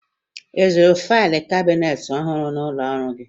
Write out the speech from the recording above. I zụrụ failụ kabineeti ọhụrụ n'ụlọ ọrụ gị?